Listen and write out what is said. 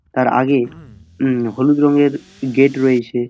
তার আগে উম হলুদ রঙের গেট রয়েছে।